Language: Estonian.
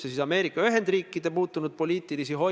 See ei ole ju meie jaoks enam ainult siseriiklik küsimus.